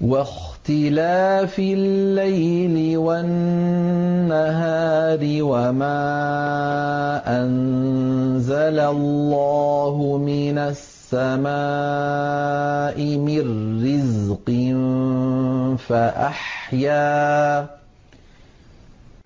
وَاخْتِلَافِ اللَّيْلِ وَالنَّهَارِ وَمَا أَنزَلَ اللَّهُ مِنَ السَّمَاءِ مِن رِّزْقٍ